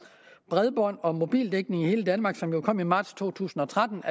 bredbånd og mobildækning i hele danmark som kom i marts to tusind og tretten